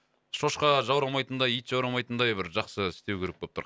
шошқа жаурамайтындай ит жаурамайтындай бір жақсы істеу керек болып тұр